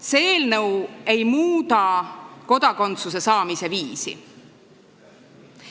See eelnõu ei muuda kodakondsuse saamise viisi.